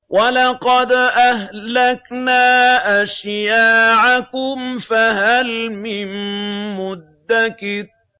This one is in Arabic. وَلَقَدْ أَهْلَكْنَا أَشْيَاعَكُمْ فَهَلْ مِن مُّدَّكِرٍ